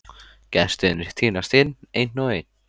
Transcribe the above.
Gestirnir tínast inn, einn og einn.